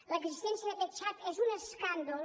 l’existència d’aquest xat és un escàndol